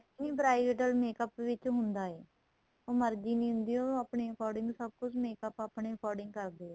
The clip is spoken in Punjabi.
ਨਹੀਂ bridal makeup ਚ ਹੁੰਦਾ ਏ ਉਹ ਮਰਜੀ ਨਹੀਂ ਹੁੰਦੀ ਉਹਨੂੰ ਆਪਣੇ according ਸਭ ਕੁੱਝ makeup ਆਪਣੇਂ according ਕਰਦੇ ਏ